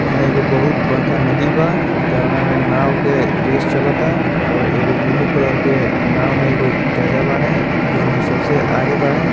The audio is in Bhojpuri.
यहाँ एगो बहुत बड़का नदी बा जउना में नाव के रेस चलता और एगो ब्लू कलर के नाव में एगो चाचा बाड़े जोन की सबसे आगे बाड़े।